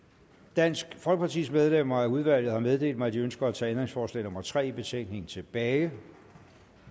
dansk folkepartis medlemmer af udvalget har meddelt mig at de ønsker at tage ændringsforslag nummer tre i betænkningen tilbage